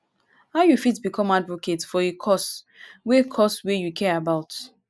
how you fit become advocate for a cause wey cause wey you care about?